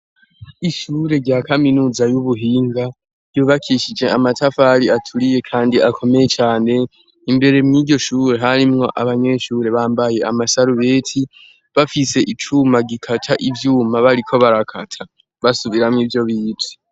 Ishure rya kaminuza y'ubuhinga ryubakishije amatafari aturiye kandi akomeye cane, imbere mw'iryo shure harimwo abanyeshure bambaye amasarubeti bafise icuma gikaca ivyuma, bariko barakata basubiramo ivyo bize.